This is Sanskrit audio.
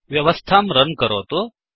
व्यवस्थां runरन् करोतु